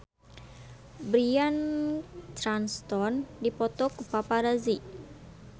Bryan Cranston dipoto ku paparazi